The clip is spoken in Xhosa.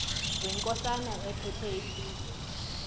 wenkosana ephethe isizwe